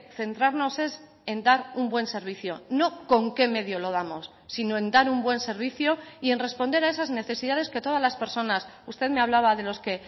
centrarnos es en dar un buen servicio no con qué medio lo damos sino en dar un buen servicio y en responder a esas necesidades que todas las personas usted me hablaba de los que